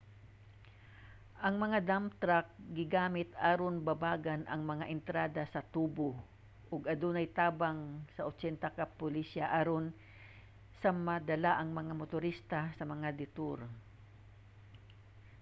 ang mga dump truck gigamit aron babagan ang mga entrada sa tubo ug adunay tabang sa 80 ka pulisya aron sa madala ang mga motorista sa mga detour